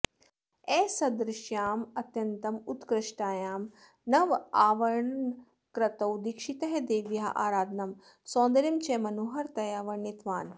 असदृश्याम् अत्यन्तम् उत्कृष्टायां नवावरणकृतौ दिक्षितः देव्याः आराधनं सौन्दर्यं च मनोहरतया वर्णितवान्